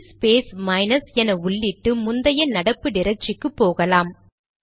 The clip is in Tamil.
சிடி ஸ்பேஸ் மைனஸ் என உள்ளிட்டு முந்தைய நடப்பு டிரக்டரிக்கு போகலாம்